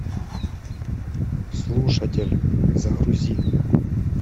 слушатель загрузи